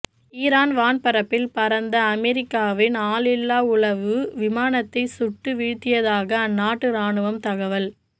Iran வான்பரப்பில் பறந்த அமெரிக்காவின் ஆளில்லா உளவு விமானத்தை சுட்டு வீழ்த்தியதாக அந்நாட்டு ராணுவம் தகவல்